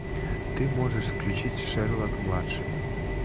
ты можешь включить шерлок младший